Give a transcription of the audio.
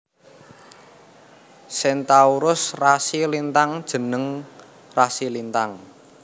Centaurus rasi lintang jeneng rasi lintang